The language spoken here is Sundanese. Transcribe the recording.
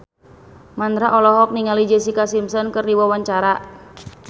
Mandra olohok ningali Jessica Simpson keur diwawancara